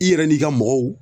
I yɛrɛ n'i ka mɔgɔw